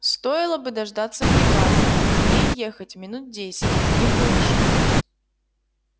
стоило бы дождаться бригады ей ехать минут десять не больше